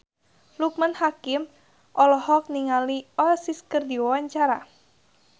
Loekman Hakim olohok ningali Oasis keur diwawancara